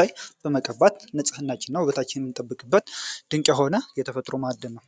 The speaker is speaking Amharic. ላይ በመቀባት ንጽህና ድንቅ የሆነ የተፈጥሮ ማዕድን ነው።